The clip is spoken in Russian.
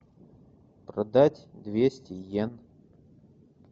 продать двести иен